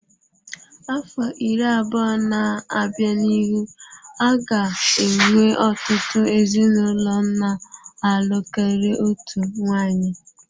Afọ iri abụọ na-abịa n'ihu a ga-enwe ọtụtụ ezinụlọ na-alụ karịa otu nwanyị.